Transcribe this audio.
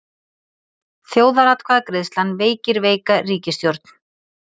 Þjóðaratkvæðagreiðslan veikir veika ríkisstjórn